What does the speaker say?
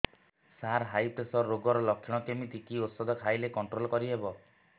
ସାର high pressure ରୋଗର ଲଖଣ କେମିତି କି ଓଷଧ ଖାଇଲେ କଂଟ୍ରୋଲ କରିହେବ